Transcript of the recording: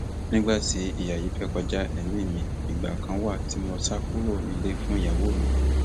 nígbà tí ìyá yìí fẹẹ kọjá èmi mi ìgbà kan wà tí mo sá kúrò nílé fún ìyàwó mi